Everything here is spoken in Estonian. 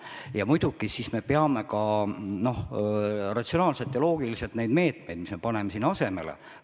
Ja muidugi siis me peame ka ratsionaalselt ja loogiliselt läbi mõtlema need meetmed, mida me sinna asemele paneme.